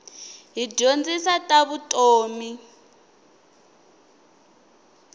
yi dyondzisa ta vutomi